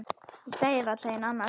Ég stæði varla hérna annars.